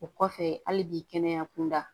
O kɔfɛ hali bi kɛnɛya kunda